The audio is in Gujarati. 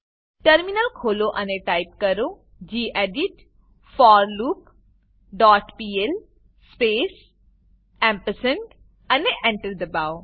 ટર્મિનલ ખોલો અને ટાઈપ કરો ગેડિટ forloopપીએલ સ્પેસ અને Enter એન્ટર દબાવો